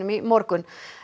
í morgun